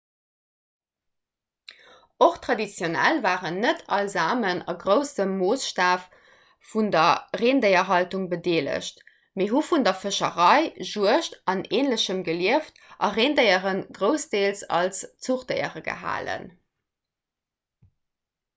och traditionell waren net all samen a groussem moossstaf un der rendéierhaltung bedeelegt mee hu vun der fëscherei juegd an änlechem gelieft a rendéiere groussdeels als zuchdéiere gehalen